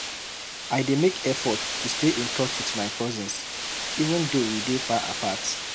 I dey make effort to stay in touch with my cousins, even though we dey far apart.